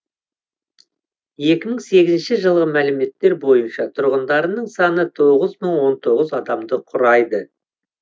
екі мың сегізінші жылғы мәліметтер бойынша тұрғындарының саны тоғыз мың он тоғыз адамды құрайды